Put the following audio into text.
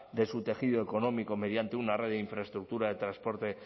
de su tejido económico mediante una red de infraestructura de transporte